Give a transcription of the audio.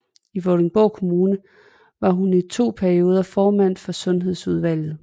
I Vordingborg Kommune var hun i to perioder formand for sundhedsudvalget